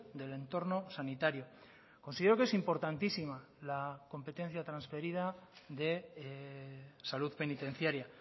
del entorno sanitario considero que es importantísima la competencia transferida de salud penitenciaria